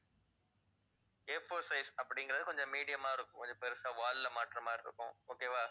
Afour size அப்படிங்கறது கொஞ்சம் medium ஆ இருக்கும். கொஞ்சம் பெருசா wall ல மாட்டுற மாதிரி இருக்கும். okay வா